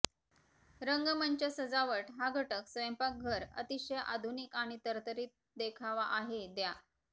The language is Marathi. रंगमंच सजावट या घटक स्वयंपाकघर अतिशय आधुनिक आणि तरतरीत देखावा आहे द्या